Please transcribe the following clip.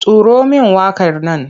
Turo min waƙar nan!